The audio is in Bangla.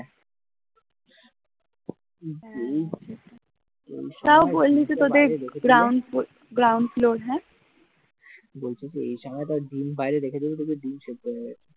তাও বললি তো যে তোদের ground floor ground floor হ্যাঁ